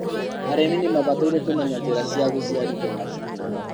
arĩmi nimabataire kũmenya njĩra cia gũciarithia mahiũ mega